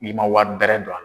I man wari bɛrɛ don a